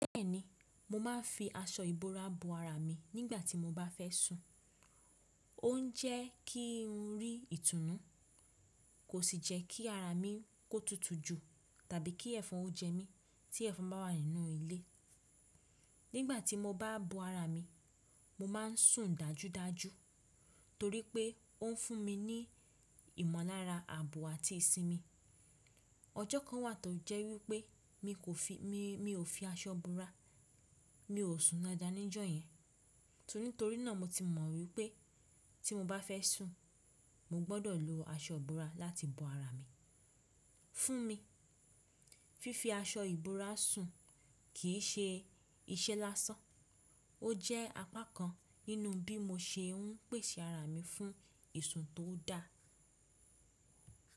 Bẹ́ẹ̀ni, mo máa ń fi aṣọ ìbora bo ara mi nígbà tí mo bá fẹ́ sùn. Ó ń jẹ́ kí ń rí ìtùnú, kò sì jẹ́ kí ara mi kó tutù ju tàbí kí ẹ̀fọn kó jẹ mí tí ẹ̀fọn bá wà nínú ilé. Nígbà tí mo bá bo ara mi, mo máa ń sùn dájúdájú torí pé ó ń fún mi ní ìmọ̀nlára ààbò àti ìsinmi. Ọjọ́ kan wà tó jẹ́ wípé mi ò fi aṣọ bora, mi ò sùn dáadáa ní ọjọ yẹn. Nítorí náà mo ti mọ̀ wípé tí mo bá fẹ́ sùn, mo gbọdọ̀ lo aṣọ ìbora láti bo ara mi. Fún mi, fífi aṣọ ìbora sùn kì í ṣe iṣẹ́ lásán, ó jẹ́ apá kan nínú bí mo ṣe ń pèsè ara mi fún ìsun tó da.